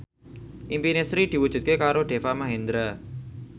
impine Sri diwujudke karo Deva Mahendra